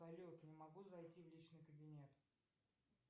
салют не могу зайти в личный кабинет